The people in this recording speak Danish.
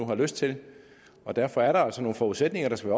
har lyst til og derfor er der altså nogle forudsætninger der skal